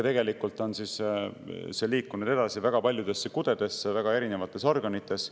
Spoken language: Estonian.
Tegelikult see liigub edasi väga paljudesse kudedesse väga erinevates organites.